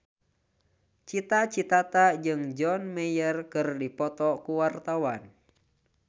Cita Citata jeung John Mayer keur dipoto ku wartawan